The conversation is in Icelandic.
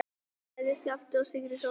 sagði Skapti sigri hrósandi.